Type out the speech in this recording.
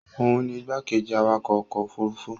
òun ni igbákejì awakọ̀ ọkọ̀ òfurufú